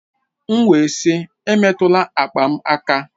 M wee sị emetụla akpa m aka!